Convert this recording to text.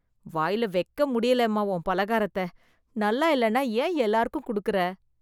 வாயில வைக்க முடியலம்மா உன் பலகாரத்த, நல்லா இல்லேன்னா ஏன் எல்லாருக்கும் கொடுக்குற.